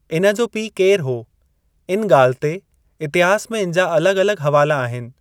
हुन जो पीउ केर हो इन ॻाल्हि ते इतिहास में इन जा अलॻ- अलॻ हवाला आहिनि।